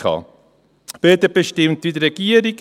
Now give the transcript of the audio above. Die BDP stimmt wie die Regierung: